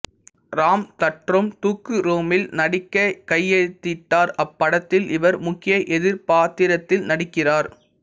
ராம் தட்ரோம் தூக்குறோமில் நடிக்க கையெழுத்திட்டார் அப்படத்தில் இவர் முக்கிய எதிர் பாத்திரத்தில் நடிக்கிறார்